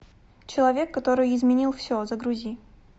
человек который изменил все загрузи